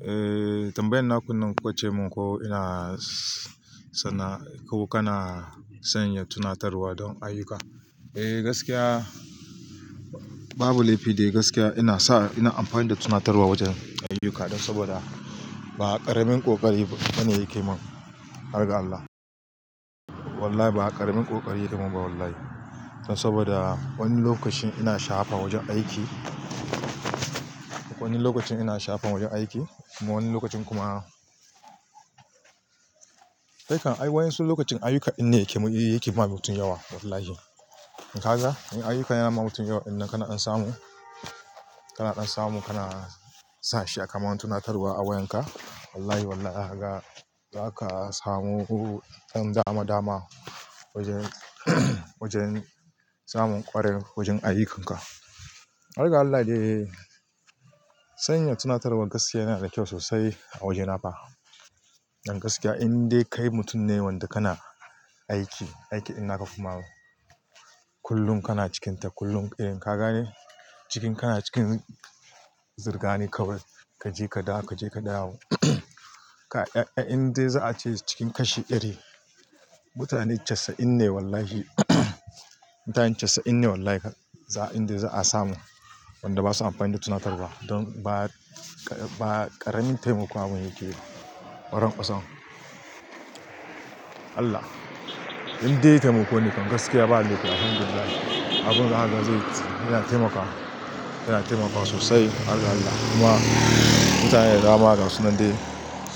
Eh tambayan na kunnan, kukace mun ko ina sana'a ko kana sanya tunatarwa don ayuka. Eh gaskiya babu laifi dai gaskiya ina sa ina amfani da tunatarwa wajen ayuka don saboda ba ƙaramin ƙoƙari bane yake mun. Harga Allah wallahi ba ƙaramin kokari yake min ba wallahi. Saboda wani lokacin ina sha'afa wajen aiki wani lokacin ina sha'afa wajen aiki kuma wani lokacin kuma. Kai kan ai waƴansu lokacin ayuka shine yake yi yake ba mutum yawa wallahi. In kaga in ayuka yana ma mutum yawa ɗin nan kana ɗan samu kana samun kana sa shi ya kaman tunatarwa a wayan ka. Wallahi wallahi kaga za ka samu ɗan dama dama wajen wajen zamun ƙwarai wajen ayyukan ka. Harga Allah dai sanya tunatarwa gaskiya yana da kyau sosai a waje na fa. Dan gaskiya indai kai mutum ne wanda kana aiki, aiki din na ka kuma kullum kana cikin ta kullum irin ka gane cikin kana cikin zirga ne kawai. Ka je ka dawo, ka je ka dawo. Indai za a ce cikin kashi ɗari mutane casa'in ne wallahi. Mutanen casa'in ne wallahi indai za a samu wanda basu amfani da tunatarwa ba. Don ba ƙaramin taimako abun yake yi ba. Waran kwasan Allah indai taimako ne kan gaskiya ba laifi. Alhamdulillahi abun zaka zai yana taimakawa yana taimakawa sosai Allah Allah kuma mutane da dama ga sunan dai